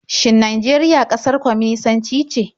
Shin Najeriya ƙasar kwaminisanci ce?